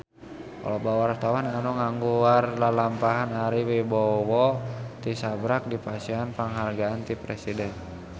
Loba wartawan anu ngaguar lalampahan Ari Wibowo tisaprak dipasihan panghargaan ti Presiden